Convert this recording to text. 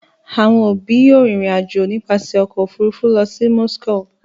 Àwọn òbí yóò rìnrìn-àjò nípasẹ̀ ọkọ̀-òfurufú lọ sí Moscow.